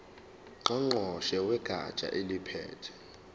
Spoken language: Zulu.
ngqongqoshe wegatsha eliphethe